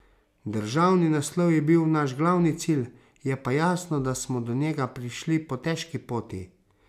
Državni naslov je bil naš glavni cilj, je pa jasno, da smo do njega prišli po težki poti.